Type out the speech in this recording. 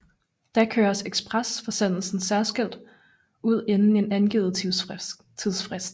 Da køres ekspresforsendelsen særskilt ud inden en angivet tidsfrist